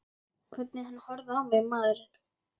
Hvernig hann horfði á mig, maðurinn!